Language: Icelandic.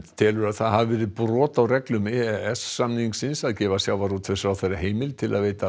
telur að það hafi verið brot á reglum e e s samningsins að gefa sjávarútvegsráðherra heimild til að veita